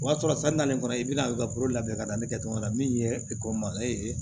O y'a sɔrɔ san naani kɔnɔ i bɛna kolo labɛn ka da ne kɛ cogo la min ye ekɔli ma ee